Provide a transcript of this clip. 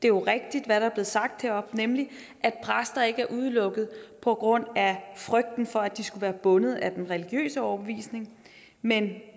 er rigtigt hvad der er blevet sagt heroppe nemlig at præster ikke er udelukket på grund af frygten for at de skulle være bundet af den religiøse overbevisning men